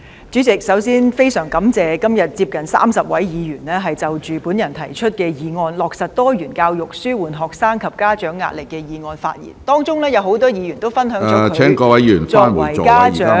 主席，首先，我非常感謝今天接近30位議員就我提出的"落實多元教育紓緩學生及家長壓力"議案發言，當中有很多議員分享了作為家長......